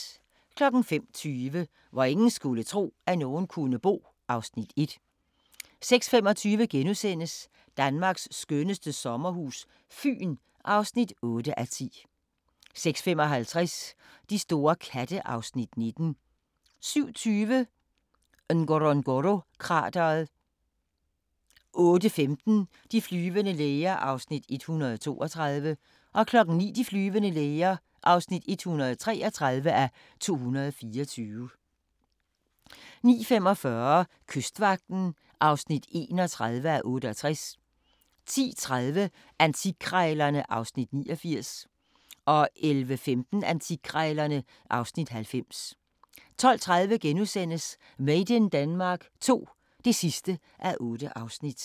05:20: Hvor ingen skulle tro, at nogen kunne bo (Afs. 1) 06:25: Danmarks skønneste sommerhus - Fyn (8:10)* 06:55: De store katte (Afs. 19) 07:20: Ngorongoro-krateret 08:15: De flyvende læger (132:224) 09:00: De flyvende læger (133:224) 09:45: Kystvagten (31:68) 10:30: Antikkrejlerne (Afs. 89) 11:15: Antikkrejlerne (Afs. 90) 12:30: Made in Denmark II (8:8)*